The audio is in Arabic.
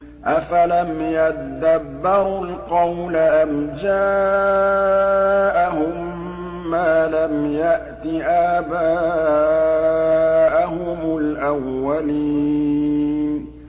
أَفَلَمْ يَدَّبَّرُوا الْقَوْلَ أَمْ جَاءَهُم مَّا لَمْ يَأْتِ آبَاءَهُمُ الْأَوَّلِينَ